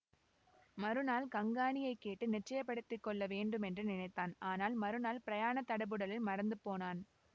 மறுநாள் கங்காணியைக் கேட்டு நிச்சயப்படுத்திக் கொள்ள வேண்டுமென்று நினைத்தான் ஆனால் மறுநாள் பிரயாண தடபுடலில் மறந்து போனான்